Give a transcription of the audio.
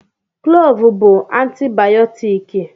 Klọọvụ bụ antibayọtiki.